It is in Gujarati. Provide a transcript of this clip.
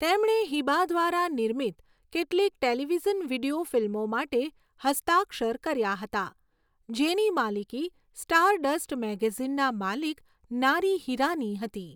તેમણે હિબા દ્વારા નિર્મિત કેટલીક ટેલિવિઝન વીડિયો ફિલ્મો માટે હસ્તાક્ષર કર્યા હતા, જેની માલિકી સ્ટારડસ્ટ મેગેઝિનના માલિક નારી હિરાની હતી.